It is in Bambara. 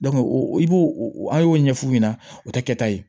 o i b'o o an y'o ɲɛf'u ɲɛna o tɛ kɛ ta ye